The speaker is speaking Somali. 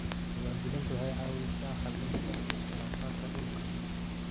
Diiwaangelintu waxay caawisaa xallinta khilaafaadka dhulka.